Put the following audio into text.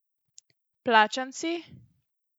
Plačanci?